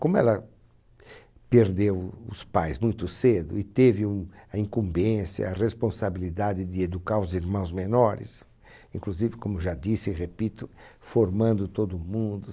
Como ela perdeu os pais muito cedo e teve um a incumbência, a responsabilidade de educar os irmãos menores, inclusive, como já disse e repito, formando todo mundo.